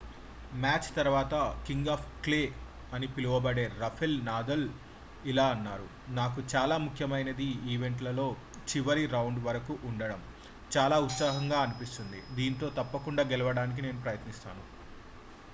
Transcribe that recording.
match తర్వాత king of clay అని పిలవబడే రాఫెల్ నాదల్ ఇలా అన్నారు నాకు చాలా ముఖ్యమైన ఈవెంట్లలో చివరి రౌండ్ వరకు ఉండడం చాలా ఉత్సాహంగా అనిపిస్తుంది దీంట్లో తప్పకుండా గెలవడానికి నేను ప్రయత్నిస్తాను